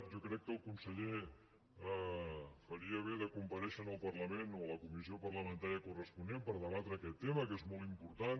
jo crec que el conseller faria bé de comparèixer en el parlament o a la comissió parlamentària corresponent per debatre aquest tema que és molt important